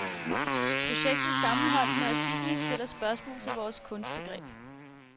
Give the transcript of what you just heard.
Projektet sammenholdt med artiklen stiller spørgsmål til vort kunstbegreb.